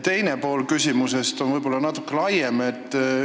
Teine pool küsimusest on natuke laiem.